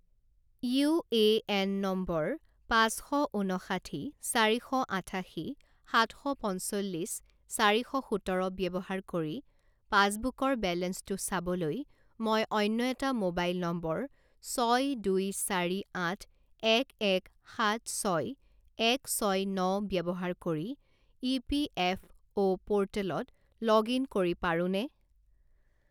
U A N নম্বৰ পাঁচ শ ঊনষাঠি চাৰি শ আঠাশী সাত শ পঞ্চল্লিছ চাৰি শ সোতৰ ব্যৱহাৰ কৰি পাছবুকৰ বেলেঞ্চটো চাবলৈ মই অন্য এটা মোবাইল নম্বৰ ছয়দুই চাৰি আঠ এক এক সাত ছয় এক ছয় ন ব্যৱহাৰ কৰি ইপিএফঅ’ প'ৰ্টেলত লগ ইন কৰি পাৰোঁনে?